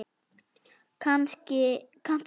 Kanntu annan?